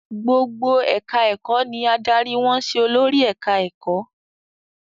Gbogbo ẹ̀ka-ẹ̀kọ́ ni adarí wọn ń ṣe olórí ẹ̀ka-ẹ̀kọ́.